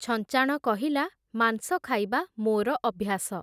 ଛଞ୍ଚାଣ କହିଲା, ମାଂସ ଖାଇବା ମୋର ଅଭ୍ୟାସ ।